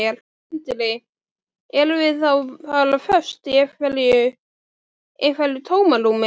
Sindri: Erum við þá bara föst í einhverju, einhverju tómarúmi?